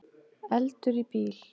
Eldur í bíl